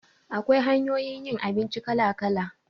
Akwai hanyoyin yin abinci kala-kala